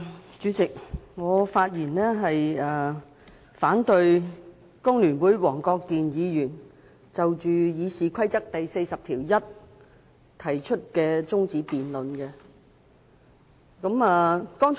代理主席，我發言反對工聯會黃國健議員根據《議事規則》第401條提出的辯論中止待續議案。